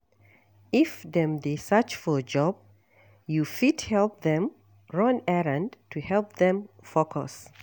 If dem dey search for job, you fit help dem run errand to help them focus